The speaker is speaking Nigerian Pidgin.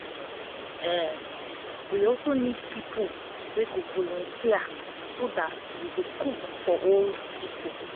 we need people to volunteer so dat we go cook for old people